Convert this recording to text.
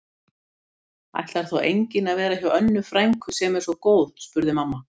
Ætlar þá enginn að vera hjá Önnu frænku sem er svo góð? spurði mamma.